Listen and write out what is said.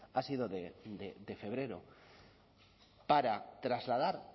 ha sido de febrero para trasladar